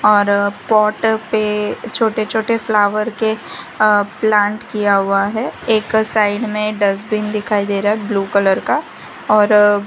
और पॉट पे छोटे छोटे फ्लावर के अ प्लांट किया हुआ है एक साइड में डस्टबिन दिखाई दे रहा है ब्लू कलर का और--